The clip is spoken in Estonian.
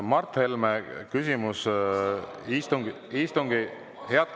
Mart Helme, küsimus istungi …